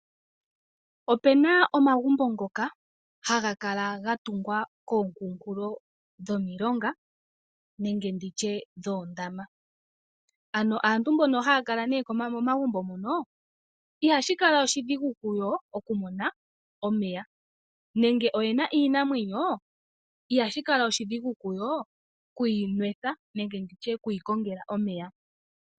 Opu na omagumbo ngoka haga kala ga tungwa komikunkulo dhomilonga nenge dhoondama. Aantu mbono haya kala momagumbo mono ihashi kala oshidhigu kuyo okumona omeya nenge ngele oye na iinamwenyo ihashi kala oshidhigu kuyo oku yi nwetha nenge okuyi kongela omeya.